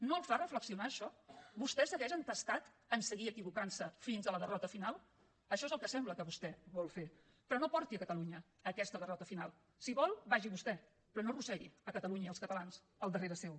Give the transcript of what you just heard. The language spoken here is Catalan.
no el fa reflexionar això vostè segueix entestat a seguir equivocant se fins a la derrota final això és el que sembla que vostè vol fer però no porti catalunya a aquesta derrota final si vol vagi hi vostè però no arrossegui catalunya i els catalans al darrere seu